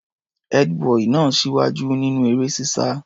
Ẹ́dí-bọì náà ń ṣíwájú nínú eré-sísá.